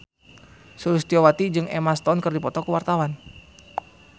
Sulistyowati jeung Emma Stone keur dipoto ku wartawan